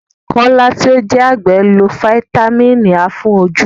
Kọ́lá tí ó jẹ́ àgbẹ̀ lo Fítámìnì A fún ojú.